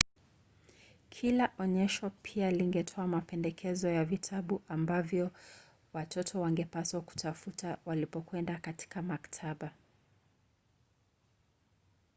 kila onyesho pia lingetoa mapendekezo ya vitabu ambavyo watoto wangepaswa kutafuta walipokwenda katika maktaba